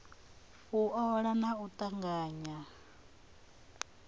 u ola na u tanganya